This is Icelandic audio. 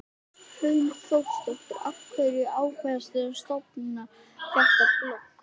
Hrund Þórsdóttir: Af hverju ákvaðstu að stofna þetta blogg?